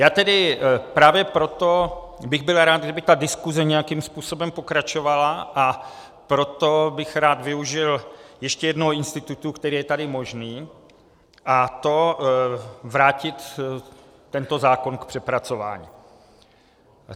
Já tedy právě proto bych byl rád, kdyby ta diskuse nějakým způsobem pokračovala, a proto bych rád využil ještě jednoho institutu, který je tady možný, a to vrátit tento zákon k přepracování.